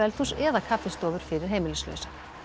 eða kaffistofur fyrir heimilislausa